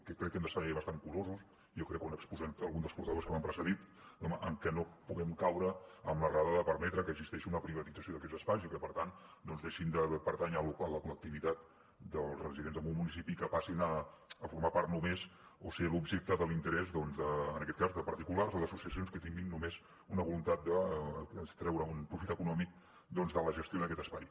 que crec que hem de ser bastant curosos jo crec que ho han exposat alguns dels portaveus que m’han precedit home en que no puguem caure en l’errada de permetre que existeixi una privatització d’aquests espais i que per tant doncs deixin de pertànyer a la col·lectivitat dels residents en un municipi i que passin a formar part només o ser l’objecte de l’interès en aquest cas de particulars o d’associacions que tinguin només una voluntat de treure un profit econòmic doncs de la gestió d’aquest espai